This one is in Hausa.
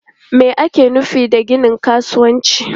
Me ake nufi da ginin kasuwanci?